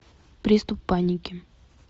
приступ паники